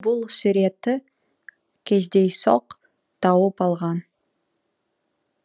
ол бұл суретті кездейсоқ тауып алған